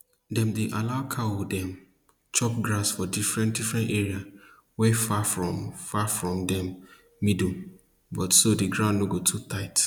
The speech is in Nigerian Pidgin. dem dey allow cow dem chop grass for different different area wey far from far from dem middle butso the ground no go too tight